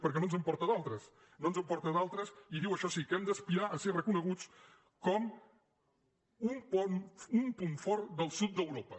per què no ens en porta d’altres no ens en porta d’altres i diu això sí que hem d’aspirar a ser reconeguts com un punt fort del sud d’europa